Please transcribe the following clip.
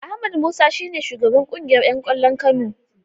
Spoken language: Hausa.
Ahmed Musa shi ne shugaban kungiyar ’yan kwallon Kano.